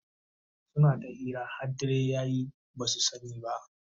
suna ta hira har dare yaye basu sani ba